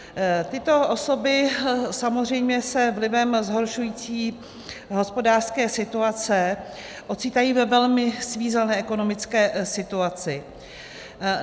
Tyto osoby samozřejmě se vlivem zhoršující hospodářské situace ocitají ve velmi svízelné ekonomické situaci.